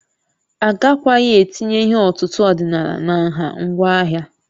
Agakwaghị etinye ihe ọ̀tụ̀tụ̀ ọdịnala na nha ngwa ahịa